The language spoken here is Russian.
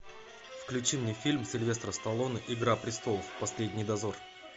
включи мне фильм сильвестра сталлоне игра престолов последний дозор